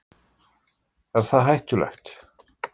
Er það hættulegt?